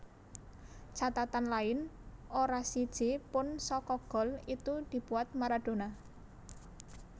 Catatan lain ora siji pun saka gol itu dibuat Maradona